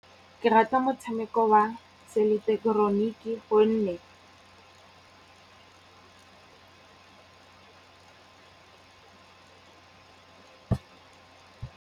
Ke rata motshameko wa seileketeroniki gonne.